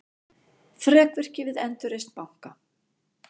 Þrekvirki við endurreisn banka